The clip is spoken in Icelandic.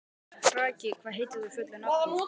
Kraki, hvað heitir þú fullu nafni?